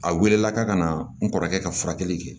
A welela ka na n kɔrɔkɛ ka furakɛli kɛ